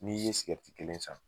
N'i ye kelen san